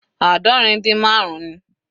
Aadọrin din marun ni.